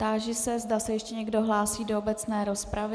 Táži se, zda se ještě někdo hlásí do obecné rozpravy.